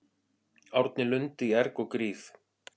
Árni Lund í erg og gríð